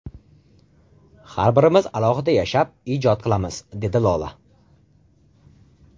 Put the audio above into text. Har birimiz alohida yashab, ijod qilamiz”, dedi Lola.